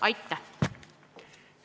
Aitäh!